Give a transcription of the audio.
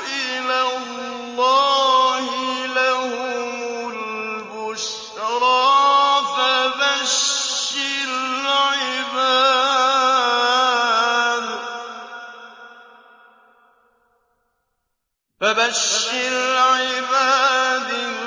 إِلَى اللَّهِ لَهُمُ الْبُشْرَىٰ ۚ فَبَشِّرْ عِبَادِ